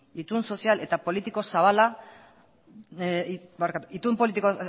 itun politiko eta